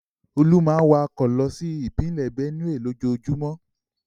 Olú máa ń wakọ̀ lọ sí ìpínlẹ̀ Bénùè. lójoojúmọ́.